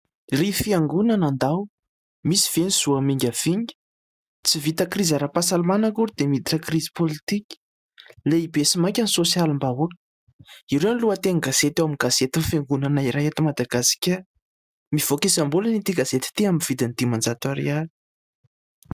"Ry fiangonana nandao misy ve ny zo hamingavinga ?" "Tsy vita krizy ara-pahasalamana akory dia miditra krizy politika lehibe sy maika ny sosialim-bahoaka. " Ireo ny lohateny gazety ao amin'ny gazety ny fiangonana iray eto Madagasikara, mivoaka isam-bolana ity gazety ity amin'ny vidin'ny dimanjato ariary.